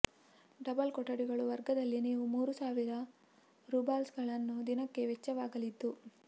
double ಕೊಠಡಿಗಳು ವರ್ಗದಲ್ಲಿ ನೀವು ಮೂರು ಸಾವಿರ ರೂಬಲ್ಸ್ಗಳನ್ನು ದಿನಕ್ಕೆ ವೆಚ್ಚವಾಗಲಿದ್ದು